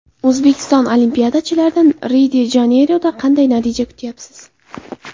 O‘zbekiston olimpiyachilaridan Rio-de-Janeyroda qanday natija kutyapsiz?